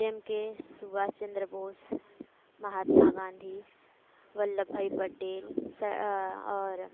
જેમકે સુભાષચંદ્ર બોઝ મહાત્મા ગાંધી વલ્લભભાઈ પટેલ સર